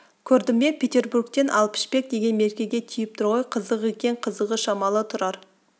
көрдің бе петербургтен ал пішпек деген меркеге тиіп тұр ғой қызық екен қызығы шамалы тұрар